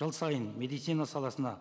жыл сайын медицина саласына